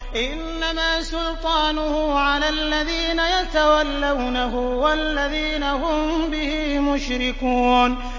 إِنَّمَا سُلْطَانُهُ عَلَى الَّذِينَ يَتَوَلَّوْنَهُ وَالَّذِينَ هُم بِهِ مُشْرِكُونَ